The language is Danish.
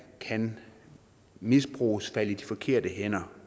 kan misbruges falde i de forkerte hænder